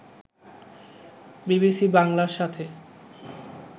BBC বাংলার সাথে